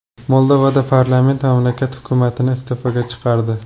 Moldovada parlament mamlakat hukumatini iste’foga chiqardi.